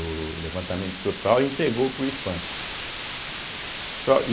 O levantamento total e entregou para o Ifam, só.